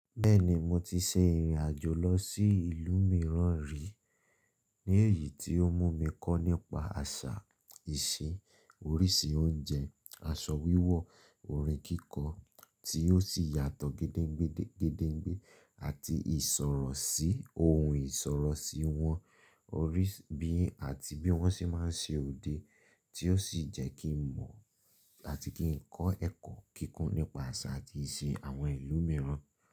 Bẹ́ẹ̀ni, mo ti ṣe ìrìn àjò lọ sí ìlú mìíràn rí, ní èyí tí ó mú mi kọ́ nípa àṣà, ìṣe, oríṣi oúnjẹ, aṣọ wíwọ̀, orin kíkọ, tí ó sì yàtọ̀ gédégbé gédégbé, àti ìsọ̀rọ̀ sí ohun ìsọ̀rọ̀ sí wọn, orí bí àti bí wọ́n ṣe máa ń ṣe òde, tí ó sì jẹ́ kí n mọ̀ àti kí n kọ́ ẹ̀kọ́ kíkún nípa àṣà àti ìṣe àwọn ìlú mìíràn.